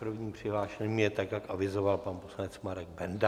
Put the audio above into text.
Prvním přihlášeným je tak, jak avizoval, pan poslanec Marek Benda.